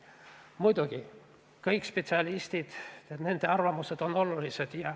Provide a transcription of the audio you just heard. Muidugi, kõik spetsialistid ja nende arvamused on olulised.